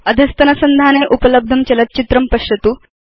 अधस्तनसंधाने उपलब्धं चलच्चित्रं पश्यतु